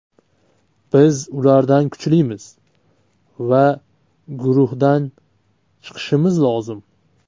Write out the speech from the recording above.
Biz ulardan kuchlimiz va guruhdan chiqishimiz lozim.